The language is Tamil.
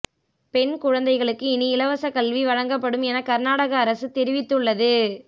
பெண் குழந்தைகளுக்கு இனி இலவச கல்வி வழங்கப்படும் என கார்நாடக அரசு தெரிவித்து உள்ளது